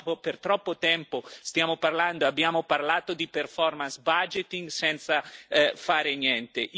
Da troppo tempo stiamo parlando e abbiamo parlato di performance budgeting senza fare niente.